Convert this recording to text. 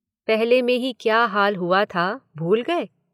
पहली में ही क्या हाल हुआ था, भूल गए?